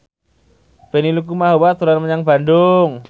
Benny Likumahua dolan menyang Bandung